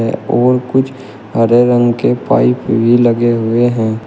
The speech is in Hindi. व और कुछ हरे रंग के पाइप भी लगे हुए हैं।